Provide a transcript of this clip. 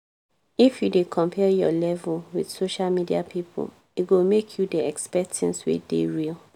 if you dey compare your level with social media people e go make you dey expect tins wey dey real